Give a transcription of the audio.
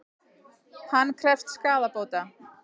Hann krefst skaðabóta